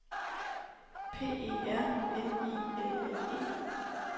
P E R N I L L E